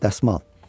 Dəsmal.